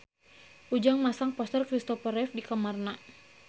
Ujang masang poster Kristopher Reeve di kamarna